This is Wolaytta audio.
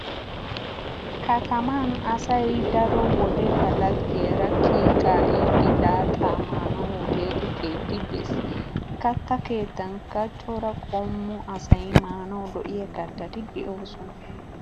Kataman asay daro wode ba laggiyara kiyi kaa'iiddi laaxxaa maanawu hoteele keetti bees. Katta keettankka cora qommo asay maanawu lo'iya kattati doosona.